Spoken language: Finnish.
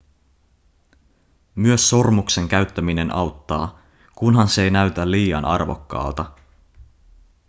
myös sormuksen käyttäminen auttaa kunhan se ei näytä liian arvokkaalta